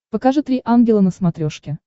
покажи три ангела на смотрешке